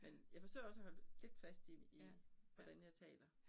Men jeg forsøger også at holde lidt fast i i hvordan jeg taler